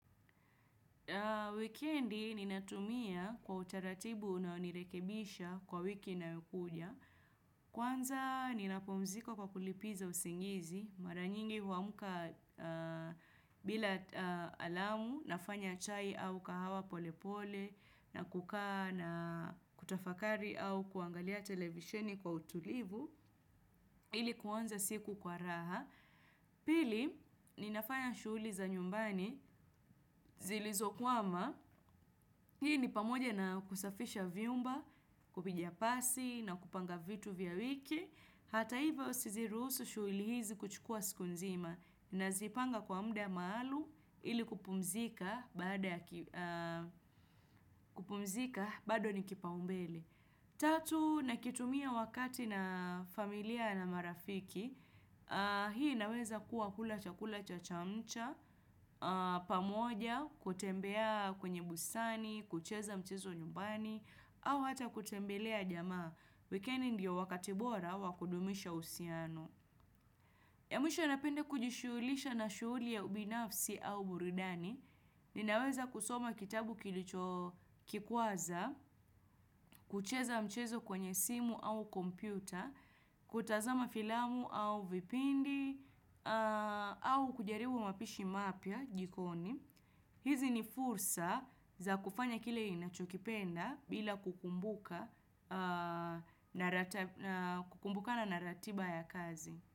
Weekend ni natumia kwa utaratibu na nirekebisha kwa wiki nayokuja. Kwanza ninapumziko kwa kulipiza usingizi. Maranyingi huamuka bila alamu nafanya chai au kahawa pole pole na kukaa na kutafakari au kuangalia televisheni kwa utulivu. Ili kuanza siku kwa raha. Pili ni nafanya shuli za nyumbani zilizokuwama. Hii ni pamoja na kusafisha vyumba, kupiga pasi na kupanga vitu vya wiki. Hata hivo sizirusu shuilihizi kuchukua siku nzima na zipanga kwa mda maalumu ili kupumzika bado ni kipa umbele. Tatu, nakitumia wakati na familia na marafiki, hii naweza kuwa kulacha kula chachamcha, pamoja, kutembea kwenye busani, kucheza mchezo nyumbani, au hata kutembelea jamaa, wikeni ndiyo wakatibora wakudumisha usiano. Ya mwisho anapende kujishulisha na shuli ya ubinafsi au buridani, ninaweza kusoma kitabu kilicho kikuaza, kucheza mchezo kwenye simu au kompyuta, kutazama filamu au vipindi, au kujaribu mapishi mapya jikoni. Hizi ni fursa za kufanya kile inachokipenda bila kukumbuka na naratiba ya kazi.